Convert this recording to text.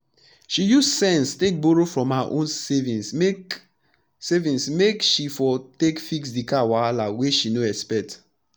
she use sense take borrow from her own savings make savings make she for take fix d car wahala wey she no expect